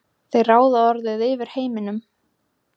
þeir ráða orðið yfir heiminum.